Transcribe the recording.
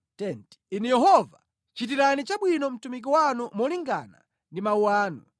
Inu Yehova, chitirani chabwino mtumiki wanu molingana ndi mawu anu.